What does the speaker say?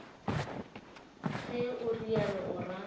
ge o realo o ra